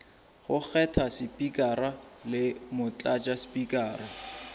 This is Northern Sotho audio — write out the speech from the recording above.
go kgetha spikara le motlatšaspikara